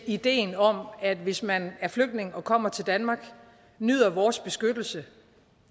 ideen om at man hvis man er flygtning og kommer til danmark nyder vores beskyttelse og